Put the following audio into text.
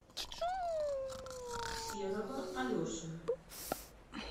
серого алешина